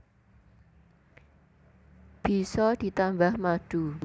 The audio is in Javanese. Bisa ditambah madu